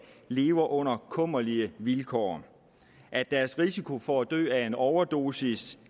lever under kummerlige vilkår at deres risiko for at dø af en overdosis